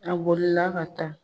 A bolila ka taa